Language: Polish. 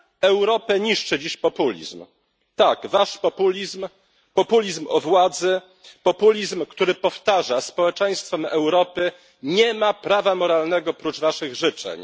Europę niszczy dziś populizm, tak, Wasz populizm, populizm władzy, populizm, który powtarza społeczeństwom Europy nie ma prawa moralnego prócz waszych życzeń.